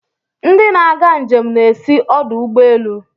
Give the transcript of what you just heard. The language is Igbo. Ndị na-aga njem na-esi ọdụ ụgbọ elu.